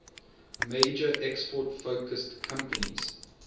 major export focused companies